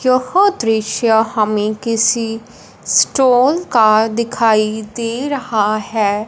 यह दृश्य हमें किसी स्टॉल का दिखाई दे रहा है।